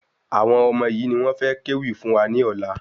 Àwọn ọmọ yìí ni wọ́n fẹ ké wì fún wa ní ọ̀la